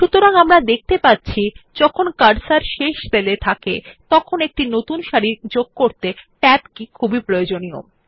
সুতরাং আমরা দেখতে পাচ্ছি যখন কার্সর শেষ সেল এ থাকে তখন একটি নতুন সারি যোগ করতে ট্যাব কি খুবই দরকারী